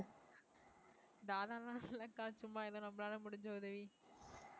தாதா எல்லாம் இல்லக்கா சும்மா ஏதோ நம்மளால முடிஞ்ச உதவி